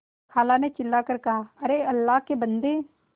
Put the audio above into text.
खाला ने चिल्ला कर कहाअरे अल्लाह के बन्दे